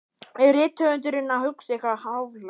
Er rithöfundurinn að hugsa eitthvað háfleygt?